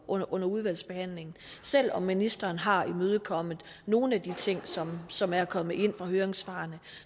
under under udvalgsbehandlingen selv om ministeren har imødekommet nogle af de ting som som er kommet ind fra høringssvarene